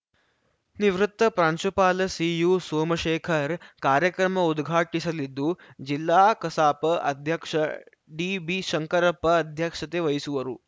ನಿವೃತ್ತ ಪ್ರಾಂಶುಪಾಲ ಸಿಯು ಸೋಮಶೇಖರ್‌ ಕಾರ್ಯಕ್ರಮ ಉದ್ಘಾಟಿಸಲಿದ್ದು ಜಿಲ್ಲಾ ಕಸಾಪ ಅಧ್ಯಕ್ಷ ಡಿಬಿ ಶಂಕರಪ್ಪ ಅಧ್ಯಕ್ಷತೆ ವಹಿಸುವರು